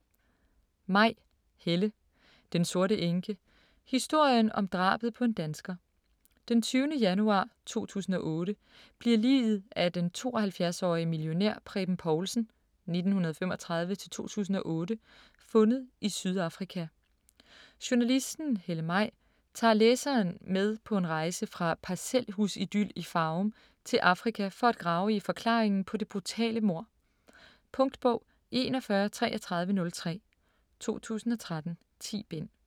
Maj, Helle: Den sorte enke: historien om drabet på en dansker Den 20. januar 2008 bliver liget af den 72-årige millionær Preben Povlsen (1935-2008) fundet i Sydafrika. Journalisten Helle Maj tager læseren med en rejse fra parcelhusidyl i Farum til Afrika for at grave i forklaringen på det brutale mord. Punktbog 413303 2013. 10 bind.